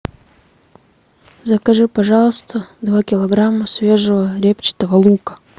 закажи пожалуйста два килограмма свежего репчатого лука